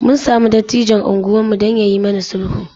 Mun sami dattijon unguwarmu don ya yi mana sulhu.